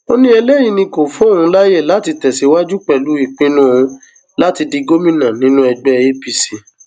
ó ní eléyìí ni kó fún òun láàyè láti tẹsíwájú pẹlú ìpinnu òun láti di gómìnà nínú ẹgbẹ apc